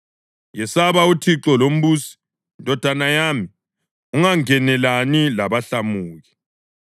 Yesaba uThixo lombusi, ndodana yami, ungangenelani labahlamuki,